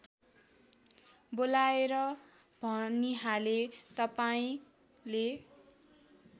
बोलाएर भनिहाले तपाईँंले